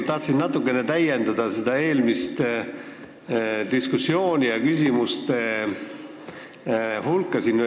Ma tahtsin natukene täiendada eelmist diskussiooni ja eelmisi küsimusi.